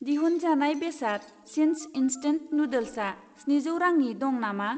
दिहुनजानाय बेसाद चिंस इन्स्टेन्ट नुडल्सआ स्निजौ रांनि दं नामा?